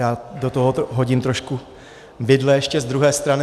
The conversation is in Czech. Já do tohoto hodím trošku vidle ještě z druhé strany.